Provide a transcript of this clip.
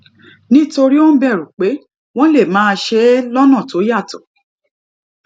nítorí ó ń bèrù pé wón lè máa ṣe é lónà tó yàtò